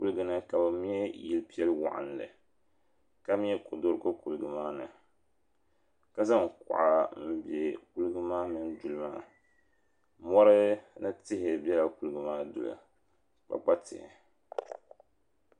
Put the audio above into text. Kuliga ni ka bɛ me yili piɛlli waɣinli ka me kodoriko Kuliga maa ni ka zaŋ kuɣa n biɛ Kuliga maa mini duli maa mori ni tihi bela kuliga maa duli kpakpa tihi.